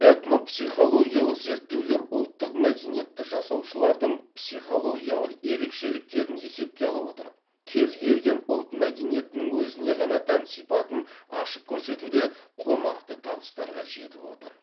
этнопсихологиялық зерттеулер ұлттық мәдениетті жасаушылардың психологиялық ерекшеліктерін есепке ала отырып кез келген ұлт мәдениетінің өзіне ғана тән сипатын ашып көрсетуде қомақты табыстарға жетіп отыр